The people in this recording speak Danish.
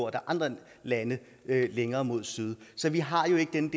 af andre lande længere mod syd så vi har jo ikke den